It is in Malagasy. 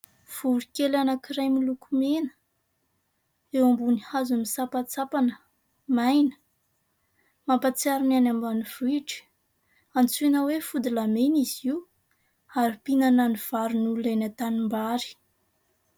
Voronkely anankiray miloko mena. Eo ambony hazo misapantsampana, maina. Mampatsiaro ny any ambanivohitra. Antsoina hoe fody lahy mena izy io ary mpinana ny vary ny olona eny antanim-bary.